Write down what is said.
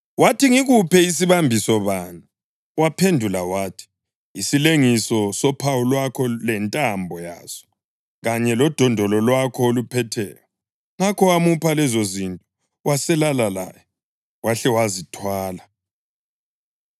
Wathi, “Ngikuphe sibambiso bani?” Waphendula wathi, “Isilengiso sophawu lwakho lentambo yaso, kanye lodondolo lwakho oluphetheyo.” Ngakho wamupha lezozinto waselala laye, wahle wazithwala.